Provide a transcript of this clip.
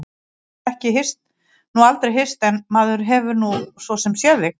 Við höfum nú aldrei hist en maður hefur nú svo sem séð þig.